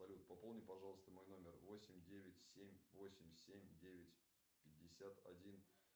салют пополни пожалуйста мой номер восемь девять семь восемь семь девять пятьдесят один